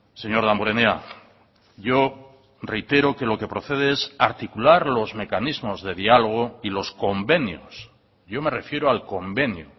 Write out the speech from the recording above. señor damborenea yo reitero que lo que procede es articular los mecanismos de diálogo y los convenios yo me refiero al convenio